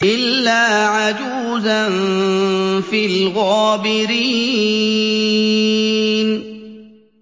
إِلَّا عَجُوزًا فِي الْغَابِرِينَ